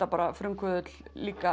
frumkvöðull líka